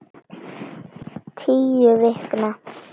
Tíu vikna